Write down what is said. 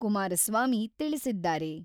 ಕುಮಾರಸ್ವಾಮಿ ತಿಳಿಸಿದ್ದಾರೆ.